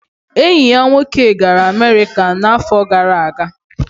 Enyi ya nwoke gara America n'afọ gara aga